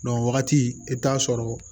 wagati i bi t'a sɔrɔ